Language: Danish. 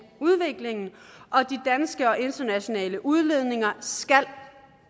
udviklingen og de danske og internationale udledninger skal